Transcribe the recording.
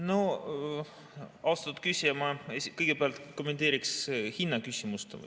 No, austatud küsija, ma kõigepealt kommenteeriksin hinnaküsimust.